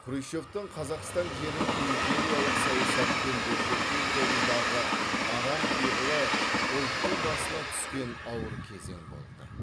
хрущевтің қазақстан жерін империялық саясатпен бөлшектеу жолындағы арам пиғылы ұлттың басына түскен ауыр кезең болды